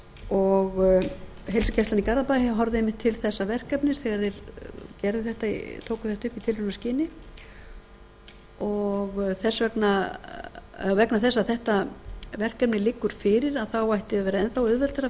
og heilsugæslan í garðabæ horfði einmitt til þessa verkefnis þegar þeir tóku þetta upp í tilraunaskyni og vegna þess að þetta verkefni liggur fyrir þá ætti að vera enn auðveldara